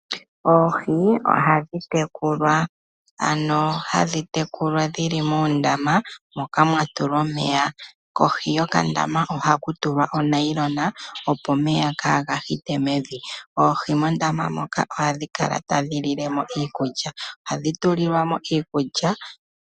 Oohi ohadhi tekulwa. Ano hadhi tekulwa dhili moondama moka mwa tulwa omeya. Kohi yokandama ohaku tulwa omeya, opo omeya kaaga hite mevi. Oohi mondama moka ohadhi kala tadhi lile mo iikulya. Ohadhi tulilwa mo iikulya.